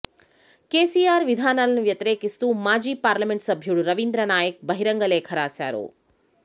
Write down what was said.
కెసిఆర్ విధానాలను వ్యతిరేకిస్తూ మాజీ పార్లమెంటు సభ్యుడు రవీంద్రనాయక్ బహిరంగ లేఖ రాశారు